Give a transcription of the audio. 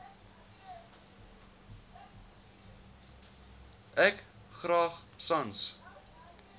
ek graag sans